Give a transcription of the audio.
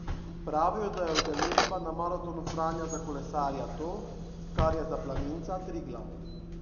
Pravijo, da je udeležba na Maratonu Franja za kolesarja to, kar je za planinca Triglav.